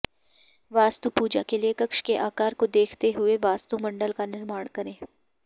वास्तुपूजा के लिए कक्ष के आकार को देखते हुए वास्तुमण्डल का निर्माण करे